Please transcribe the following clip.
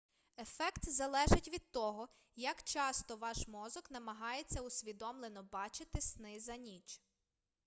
ефект залежить від того як часто ваш мозок намагається усвідомлено бачити сни за ніч